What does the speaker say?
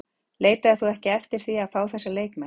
Leitaðir þú ekki eftir því að fá þessa leikmenn?